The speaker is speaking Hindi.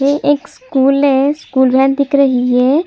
यह एक स्कूल है स्कूल वैन दिख रही है |